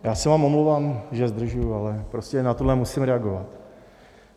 Já se vám omlouvám, že zdržuji, ale prostě na tohle musím reagovat.